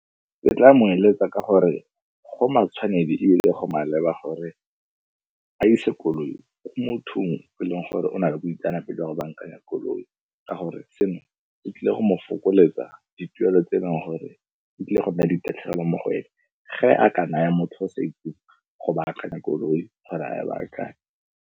Ke tla mo eletsa ka gore, go matshwanedi ebile go maleba gore a ise koloi ko mothong o e leng gore o na le boitseanape jwa go bankanya koloi ka gore seno e tlile go mo fokoletsa dituelo tse e leng gore e tlile go nna le di tatlhegelo mo go ene ge a ka naya motho o sa itseng go baakanya koloi gore a e baakanye.